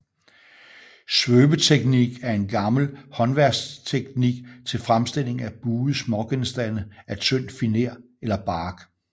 Svøbeteknik er en gammel håndværksteknik til fremstilling af buede smågenstande af tynd finer eller bark